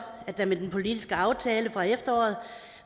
at der med den politiske aftale fra efteråret